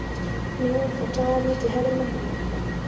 Nĩũĩ bata wa nyeki harĩ mahiũ.